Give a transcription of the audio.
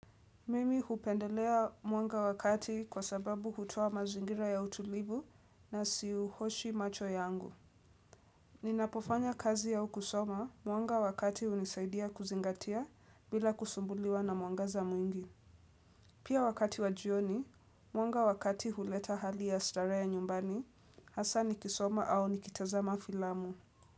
Mimi hupendelea mwanga wa kati kwa sababu hutoa mazingira ya utulivu nasiuoshi macho yangu. Ninapofanya kazi au kusoma mwanga wa kati hunisaidia kuzingatia bila kusumbuliwa na mwangaza mwingi. Pia wakati wa jioni, mwanga wa kati huleta hali ya starehe ya nyumbani, hasa nikisoma au nikitazama filamu.